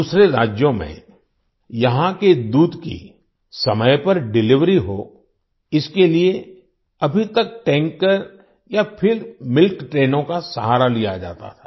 दूसरे राज्यों में यहां के दूध की समय पर डिलिवरी हो इसके लिए अभी तक टैंकर या फिर मिल्क ट्रेन्स ट्रेनोंका सहारा लिया जाता था